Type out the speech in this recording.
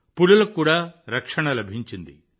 పులులకు కూడా రక్షణ లభించింది